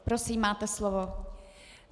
Prosím, máte slovo.